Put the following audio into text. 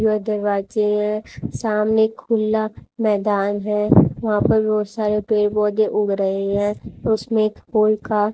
यह दरवाजे है सामने खुला मैदान है वहां पर बहुत सारे पेड़ पौधे उग रहे हैं उसमें हॉल का--